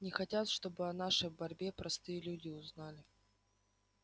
не хотят чтобы о нашей борьбе простые люди узнали